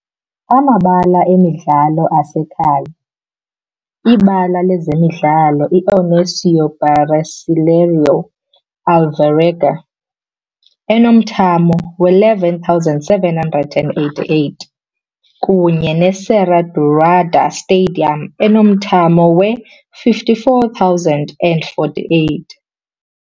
Amabala emidlalo asekhaya libala lezemidlalo iOnésio Brasileiro Alvarenga, enomthamo we-11,788, kunye ne-Serra Dourada stadium, enomthamo we-54,048.